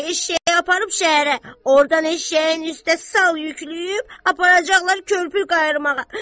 eşşəyi aparıb şəhərə, ordan eşşəyin üstə sal yükləyib aparacaqlar körpü qayarmağa.